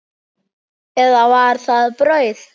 Eða var það brauð?